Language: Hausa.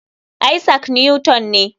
Isaac Newton ne.